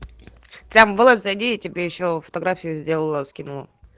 кабыла зайди я тебе ещё фотографию сделала скинула